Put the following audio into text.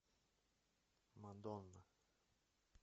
мадонна